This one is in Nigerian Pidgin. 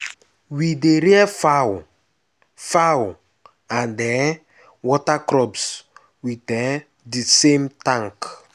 we dey rear fowl fowl and um water crops with um the same tank.